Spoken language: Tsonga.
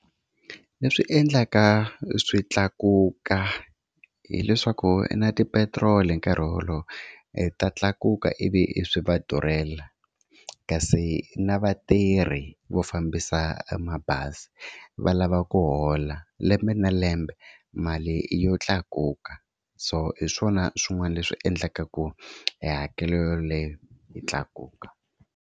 Leswi endlaka swi tlakuka hileswaku na tipetiroli hi nkarhi wolowo i ta tlakuka ivi swi va durhela, kasi na vatirhi vo fambisa mabazi va lava ku hola lembe na lembe mali yo tlakuka so hi swona swin'wana leswi endlaka ku hi. hakelo yoleyo yi tlakuka